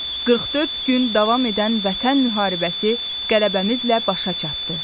44 gün davam edən Vətən müharibəsi qələbəmizlə başa çatdı.